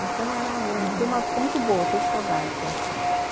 Então era, foi uma época muito boa, eu tenho saudades lá.